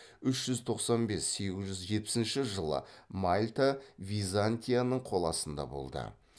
үш жүз тоқсан бес сегіз жүз жетпісінші жылы мальта византияның қол астында болды